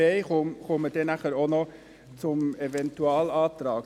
ich komme nachher noch zum Eventualantrag.